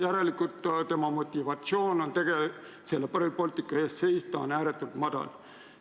Järelikult motivatsioon Rail Balticu eest seista on ääretult madal.